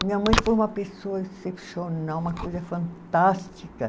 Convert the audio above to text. Minha mãe foi uma pessoa excepcional, uma coisa fantástica.